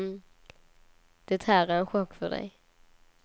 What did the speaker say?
Det här är en chock för dig.